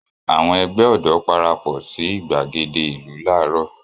Àwọn ẹgbẹ́ ọ̀dọ́ parapọ̀ sí ìgbàgede ìlú láàárọ̀.